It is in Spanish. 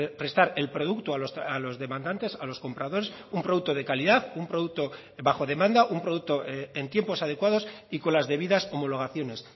prestar el producto a los demandantes a los compradores un producto de calidad un producto bajo demanda un producto en tiempos adecuados y con las debidas homologaciones